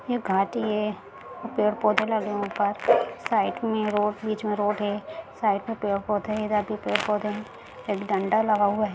एक घाटी है पेड़-पौधे लगे हैं ऊपर साइड में रोड बीच मे रोड है साइड मे पेड़-पौधे है इधर भी पेड़-पौधे है एक डंडा लगा हुआ है।